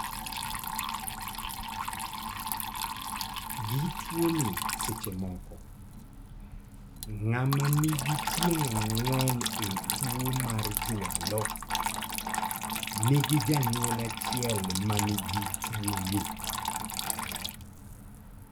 Gi tuo ni seche moko, ng'ama nigi tieng' ang'wen e tuo mar jwalo nigi janyuol achiel manigi tuo ni